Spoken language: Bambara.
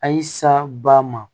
A y'i sa ba ma